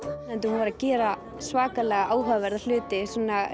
hún var að gera svakalega áhugaverða hluti